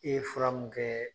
E ye fura mun kɛɛ